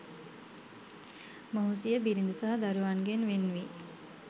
මොහු සිය බිරිඳ සහ දරුවන්ගෙන් වෙන්වී